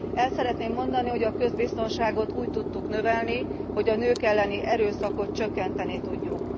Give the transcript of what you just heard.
El szeretném mondani, hogy a közbiztonságot úgy tudtuk növelni, hogy a nők elleni erőszakot csökkenteni tudjuk.